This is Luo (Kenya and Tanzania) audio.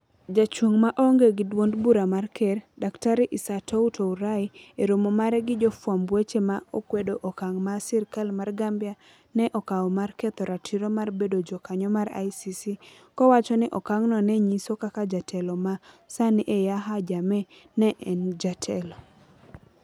Ja chung ma onge gi dwond bura mar ker, Dr. Isatou Touray e romo mare gi jofwamb weche ne okwedo okang' ma sirkal mar Gambia ne okawo mar ketho ratiro mar bedo jakanyo mar ICC, kowacho ni okang'no ne nyiso kaka jatelo ma sani en Yahya Jammeh ne en jatelo: